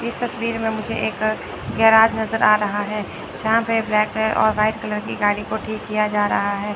इस तस्वीर में मुझे एक गैराज नजर आ रहा है। जहां पे ब्लैक कलर और व्हाइट कलर की गाड़ी को ठीक किया जा रहा है।